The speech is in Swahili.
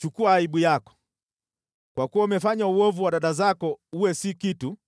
Chukua aibu yako, kwa kuwa umefanya uovu wa dada zako uwe si kitu,